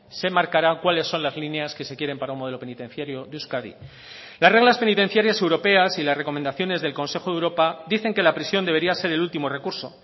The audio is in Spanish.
se marcarán cuáles son las líneas que se quieren para un modelo penitenciario de euskadi las reglas penitenciarias europeas y las recomendaciones del consejo de europa dicen que la prisión debería ser el último recurso